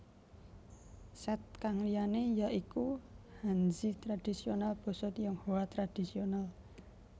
Set kang liyane ya iku Hanzi tradisional Basa Tionghoa Tradisional